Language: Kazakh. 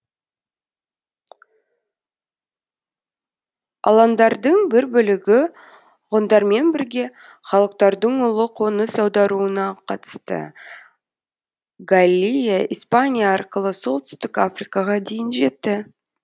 аландардың бір бөлігі ғұндармен бірге халықтардың ұлы қоныс аударуына қатысты галлия испания арқылы солтүстік африкаға дейін жетті